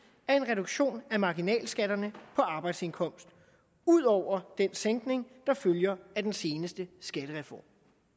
er en reduktion af marginalskatterne på arbejdsindkomst udover den sænkning der følger af den seneste skattereform